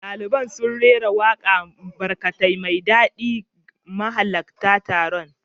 Daliban sun rera wakar Barakat mai daɗi ga mahalarta taron.